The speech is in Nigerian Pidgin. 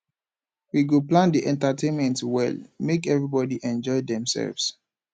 we go plan di entertainment well make everybodi enjoy demselves